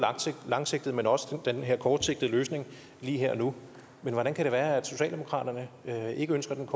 langsigtede men også den kortsigtede løsning lige her og nu hvordan kan det være at socialdemokratiet ikke ønsker den